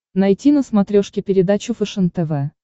найти на смотрешке передачу фэшен тв